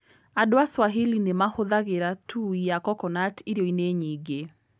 Andũ a Swahili nĩ mahũthagĩra tui ya coconut irio-inĩ nyingĩ.